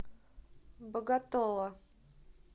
боготола